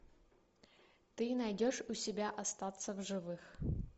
ты найдешь у себя остаться в живых